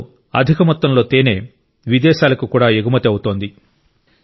అందులో అధిక మొత్తంలో తేనె విదేశాలకు కూడా ఎగుమతి అవుతోంది